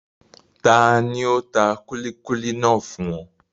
Tani ó tà kúlíkúlí náà fún ọ?